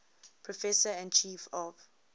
professor and chief of